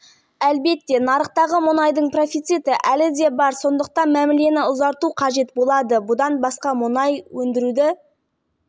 тағы бір факторды ұмытпаңыздар тақтатас өндіру бір жағынан америкалықтар өздерінің мұнай өнімдерін белсенді экспорттай бастады ал